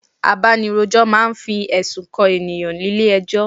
Abanirojọ máa ń fi ẹ̀sùn kan ènìyàn nílé ẹjọ́